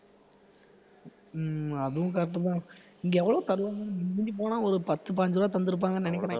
உம் அதுவும் correct தான் இங்க எவ்வளவு தருவாங்கன்னு மிஞ்சி மிஞ்சி போனா ஒரு பத்து, பதினஞ்சு ரூபாய் தந்து இருப்பாங்கன்னு நினைக்கிறேன்